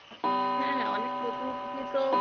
হ্যাঁ হ্যাঁ অনেক নতুন কিছুই তো